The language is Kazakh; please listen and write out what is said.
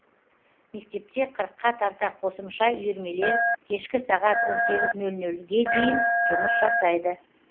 мектепте қырыққа тарта қосымша үйірмелер кешкі сағат он сегіз нөл нөлге дейін жұмыс жасайды